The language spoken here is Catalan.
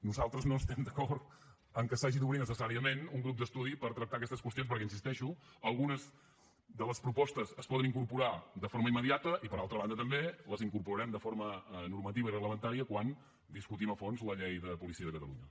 nosaltres no estem d’acord que s’hagi d’obrir necessàriament un grup d’estudi per tractar aquestes qüestions perquè hi insisteixo algunes de les propostes es poden incorporar de forma immediata i per altra banda també les incorporarem de forma normativa i reglamentària quan discutim a fons la llei de policia de catalunya